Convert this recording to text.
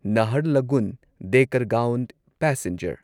Naharlagun Dekargaon passenger